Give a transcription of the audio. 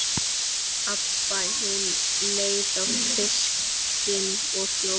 Abba hin leit á fiskinn og hló.